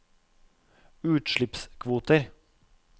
utslippskvoter